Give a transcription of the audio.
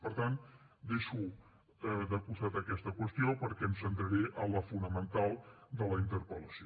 per tant deixo de costat aquesta qüestió perquè em centraré en la fonamental de la interpel·lació